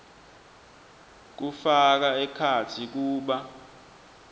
kufaka ekhatsi kuba